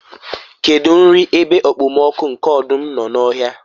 kedu nri ebe okpomọkụ nke ọdụm nọ n'ọhịa?